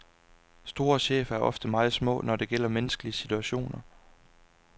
Store chefer er ofte meget små, når det gælder menneskelige situationer.